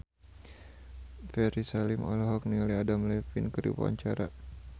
Ferry Salim olohok ningali Adam Levine keur diwawancara